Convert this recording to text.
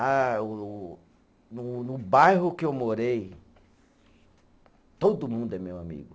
Ah o o, no no bairro que eu morei, todo mundo é meu amigo.